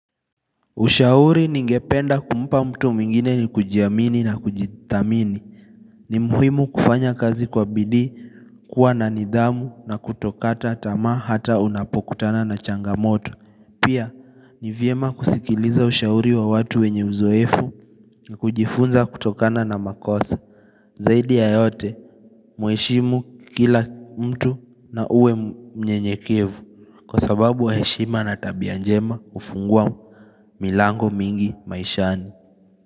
Ushauri ningependa kumpa mtu mwingine ni kujiamini na kujithamini. Ni muhimu kufanya kazi kwa bidii, kuwa na nidhamu na kutokata tamaa hata unapokutana na changamoto. Pia, ni vyema kusikiliza ushauri wa watu wenye uzoefu, na kujifunza kutokana na makosa. Zaidi ya yote, mweshimu kila mtu na uwe mnyenyekevu. Kwa sababu wa heshima na tabianjema hufungua milango mingi maishani.